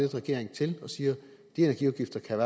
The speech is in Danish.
regering til og siger de energiafgifter kan